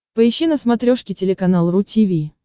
поищи на смотрешке телеканал ру ти ви